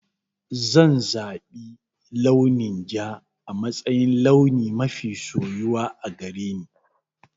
Zan zaɓi launin ja a matsayin launi mafi soyuwa a gare ni.